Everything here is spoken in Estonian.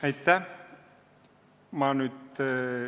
Aitäh!